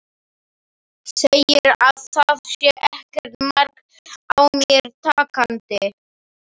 Segir að það sé ekkert mark á mér takandi.